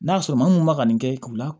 N'a sɔrɔ maa mun ma ka nin kɛ k'u la